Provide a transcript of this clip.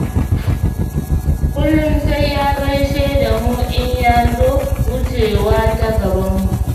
Kullum sai ya gaishe da mu in ya zo wucewa ta gabanmu.